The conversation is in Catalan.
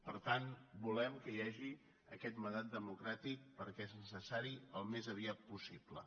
per tant volem que hi ha·gi aquest mandat democràtic perquè és necessari al més aviat possible